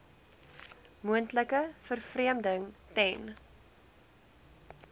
moontlike vervreemding ten